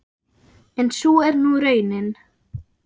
En sú er nú raunin.